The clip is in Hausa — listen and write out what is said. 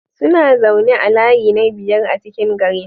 Suna zaune a layi na biyar a cikin garin.